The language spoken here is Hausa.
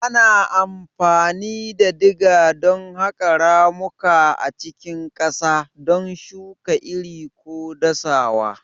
Ana amfani da diga don haƙa ramuka a cikin ƙasa, don shuka iri ko dasawa.